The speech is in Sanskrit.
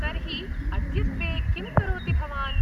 तर्हि अद्यत्वे किं करोति भवान्?